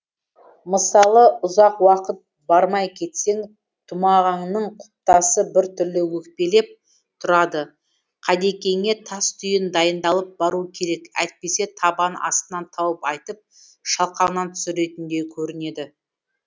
мысалы ұзақ уақыт бармай кетсең тұмағаңның құлпытасы бір түрлі өкпелеп тұрады қадекеңе тас түйін дайындалып бару керек әйтпесе табан астынан тауып айтып шалқаңнан түсіретіндей көрінеді